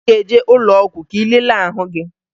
Ị ga-eje ụlọọgwụ ka ị lelee ahụ gị